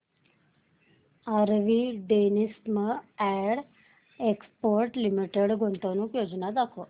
RV denims and exports limited गुंतवणूक योजना दाखव